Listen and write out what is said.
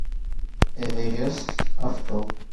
эверест авто